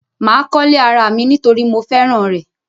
Mà kọ́lé ara mi nítorí mo fẹ́ràn rẹ̀.